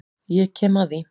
Ég kem að því.